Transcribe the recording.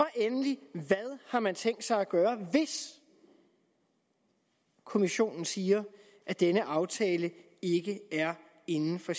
endelig hvad har man tænkt sig at gøre hvis kommissionen siger at denne aftale ikke er inden for